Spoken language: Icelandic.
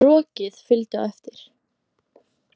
Rokið fylgdi á eftir.